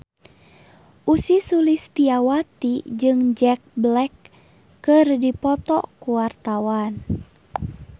Ussy Sulistyawati jeung Jack Black keur dipoto ku wartawan